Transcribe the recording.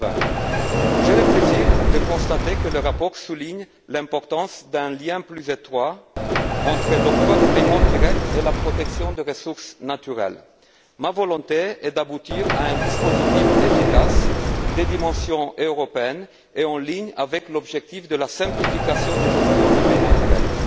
2020. J'ai le plaisir de constater que le rapport souligne l'importance d'un lien plus étroit entre l'octroi des paiements directs et la protection des ressources naturelles. Ma volonté est d'aboutir à un dispositif efficace, de dimension européenne et conforme à l'objectif de la simplification de la gestion des paiements directs.